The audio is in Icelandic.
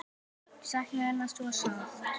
Ég sakna hennar svo sárt.